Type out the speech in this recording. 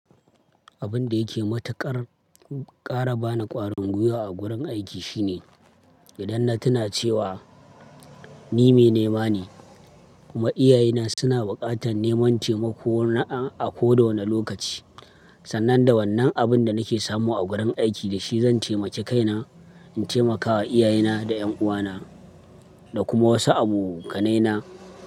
Abin da yake matuƙar ƙara bani ƙwarin gwiwa a gurin aiki shine idan na tuna cewa ni mai nema ne kuma iyaye na suna buƙatar neman taimako na a koda wane lokaci. Sannan da wannan abin da nake samu a gurin aiki da shi zan taimake kaina in taimakawa iyaye na da 'yan uwa na da kuma wasu abokanai na.